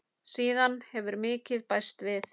Síðan hefur mikið bæst við.